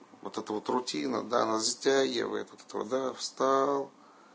вот это вот рутина да она затягивает вот это вот да встал